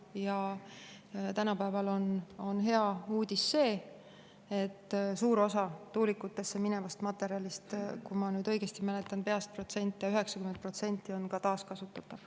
Ja tänapäeval on hea uudis see, et suur osa tuulikutesse minevast materjalist – kui ma nüüd õigesti mäletan peast protsente, – 90% on ka taaskasutatav.